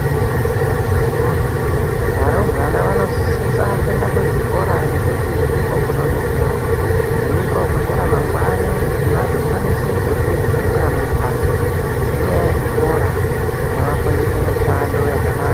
Hiiih akhithi woyee, varumbwana vanosisa kuenda kuzvikora ngekuti ndiko kunodetsera. Ndiko kune remangwani kuti vazokwanisa kudyre zvingwa mumhatso ngenyaya yechikora chinovafundisa mishando yakanaka.